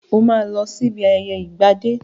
Óò lọ sí ibi ayẹyẹ ìgbà dé!